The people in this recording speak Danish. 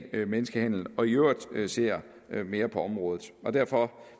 menneskehandel og i øvrigt ser mere på området derfor